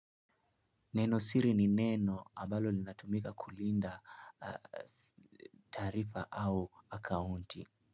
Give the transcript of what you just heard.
Nenosiri ni neno ambalo linatumika kulinda taarifa au akaunti.